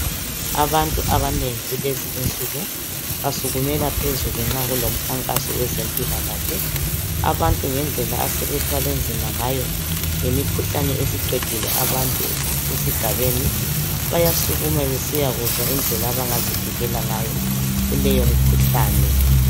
Abantu abanengi kulezi insuku basukumela phezulu nxa kulomkhankaso owezempilakahle abantu ngedlela asebethwale nzima ngayo ngemikhuhlane esiqedile abantu esigabeni bayasukuma besiyakuzwa indlela abangazivikela ngayo kuleyo mkhuhlane